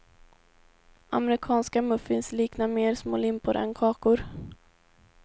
Amerikanska muffins liknar mer små limpor än kakor.